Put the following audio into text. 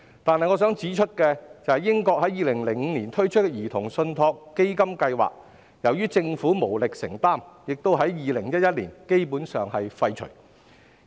不過，我想指出，英國於2005年推出兒童信託基金計劃，但由於政府無力承擔，基本上已於2011年廢除。